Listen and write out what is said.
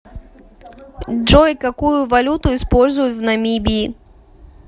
джой какую валюту используют в намибии